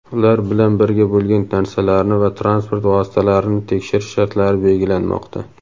ular bilan birga bo‘lgan narsalarni va transport vositalarini tekshirish shartlari belgilanmoqda.